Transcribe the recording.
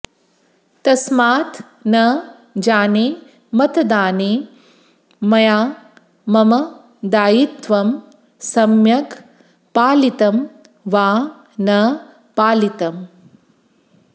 तस्मात् न जाने मतदाने मया मम दायित्वं सम्यग् पालितं वा न पालितम्